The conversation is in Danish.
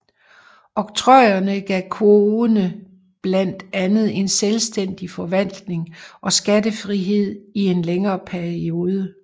Oktrojerne gav kogene blandt andet en selvstændig forvaltning og skattefrihed i en længere periode